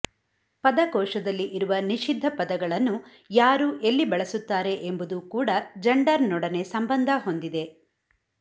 ಪದಕೋಶದಲ್ಲಿ ಇರುವ ನಿಷಿದ್ಧ ಪದಗಳನ್ನು ಯಾರು ಎಲ್ಲಿ ಬಳಸುತ್ತಾರೆ ಎಂಬುದೂ ಕೂಡ ಜಂಡರ್ನೊಡನೆ ಸಂಬಂಧ ಹೊಂದಿದೆ